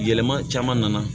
Yɛlɛma caman nana